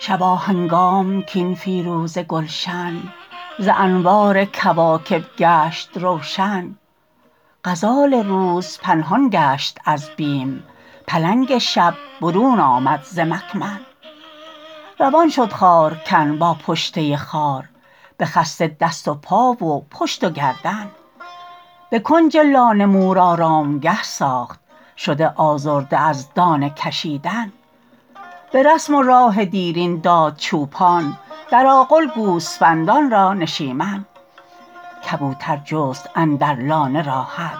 شباهنگام کاین فیروزه گلشن ز انوار کواکب گشت روشن غزال روز پنهان گشت از بیم پلنگ شب برون آمد ز ممکن روان شد خار کن با پشته خار بخسته دست و پا و پشت و گردن بکنج لانه مور آرمگه ساخت شده آزرده از دانه کشیدن برسم و راه دیرین داد چوپان در آغل گوسفندان را نشمین کبوتر جست اندر لانه راحت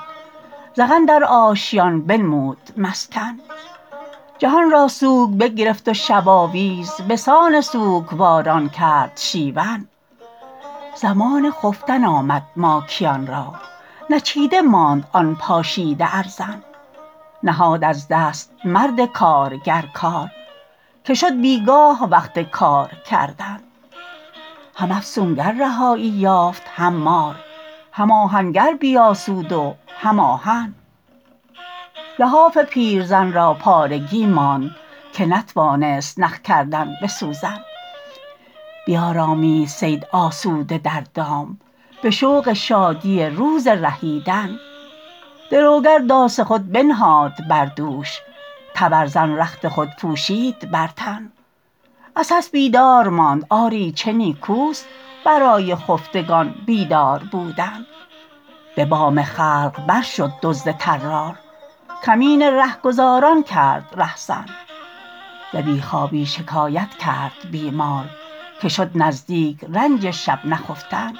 زغن در آشیان بنمود مسکن جهانرا سوگ بگرفت و شباویز بسان سوگواران کرد شیون زمان خفتن آمد ماکیانرا نچیده ماند آن پاشیده ارزن نهاد از دست مرد کارگر کار که شد بیگاه وقت کار کردن هم افسونگر رهایی یافت هم مار هم آهنگر بیاسود و هم آهن لحاف پیرزن را پارگی ماند که نتوانست نخ کردن بسوزن بیارامید صید آسوده در دام بشوق شادی روز رهیدن دروگر داس خود بنهاد بر دوش تبرزن رخت خود پوشید بر تن عسس بیدار ماند آری چه نیکوست برای خفتگان بیدار بودن ببام خلق بر شد دزد طرار کمین رهگذاران کرد رهزن ز بی خوابی شکایت کرد بیمار که شد نزدیک رنج شب نخفتن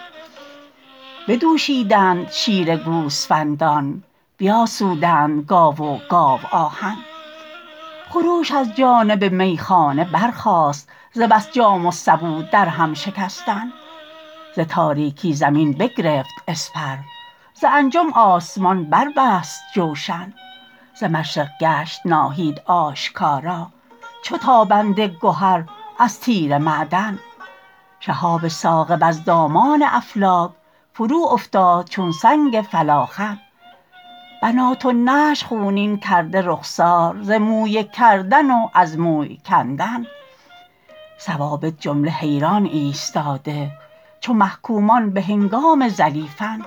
بدوشیدند شیر گوسفندان بیاسودند گاو و گاوآهن خروش از جانب میخانه برخاست ز بس جام و سبو در هم شکستن ز تاریکی زمین بگرفت اسپر ز انجم آسمان بر بست جوشن ز مشرق گشت ناهید آشکارا چو تابنده گهر از تیره معدن شهاب ثاقب از دامان افلاک فرو افتاد چون سنگ فلاخن بنات النعش خونین کرده رخسار ز مویه کردن و از موی کندن ثوابت جمله حیران ایستاده چو محکومان بهنگام زلیفن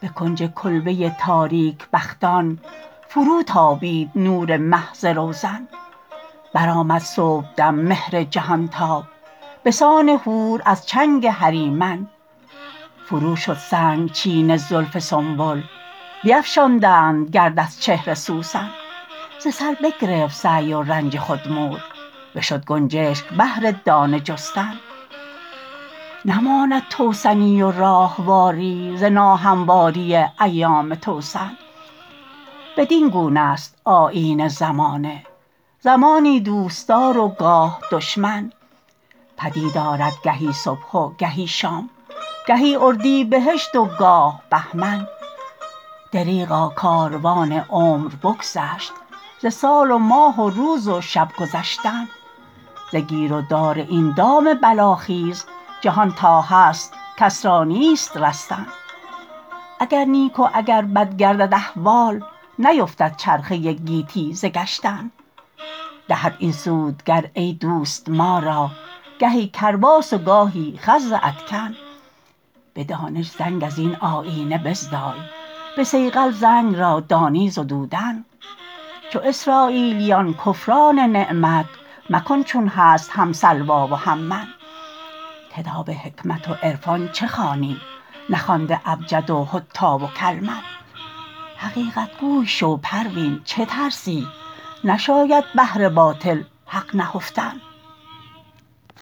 به کنج کلبه تاریک بختان فروتابید نور مه ز روزن بر آمد صبحدم مهر جهانتاب بسان حور از چنگ هریمن فرو شستند چین زلف سنبل بیفشاندند گرد از چهر سوسن ز سر بگرفت سعی و رنج خود مور بشد گنجشک بهر دانه جستن نماند توسنی و راهواری ز ناهمواری ایام توسن بدینگونه است آیین زمانه زمانی دوستدار و گاه دشمن پدید آرد گهی صبح و گهی شام گهی اردیبهشت و گاه بهمن دریغا کاروان عمر بگذشت ز سال و ماه و روز و شب گذشتن ز گیر و دار این دام بلاخیز جهان تا هست کس را نیست رستن اگر نیک و اگر بد گردد احوال نیفتد چرخه گیتی ز گشتن دهد این سودگر ایدوست ما را گهی کرباس و گاهی خز ادکن بدانش زنگ ازین آیینه بزدای بصیقل زنگ را دانی زدودن چو اسراییلیان کفران نعمت مکن چون هست هم سلوی و هم من کتاب حکمت و عرقان چه خوانی نخوانده ابجد و حطی و کلمن حقیقت گوی شو پروین چه ترسی نشاید بهر باطل حق نهفتن